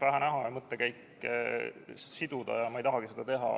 pähe näha ja tema mõttekäike siduda ja ma ei tahagi seda teha.